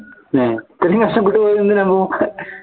ഏഹ് ഇത്രയും കഷ്ടപ്പെട്ട് പോയത് എന്തിനാ അപ്പോ